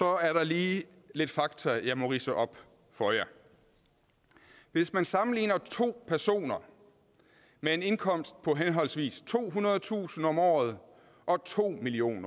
er der lige lidt fakta jeg må ridse op for jer hvis man sammenligner to personer med en indkomst på henholdsvis tohundredetusind kroner om året og to million